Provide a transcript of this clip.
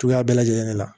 Cogoya bɛɛ lajɛlen de la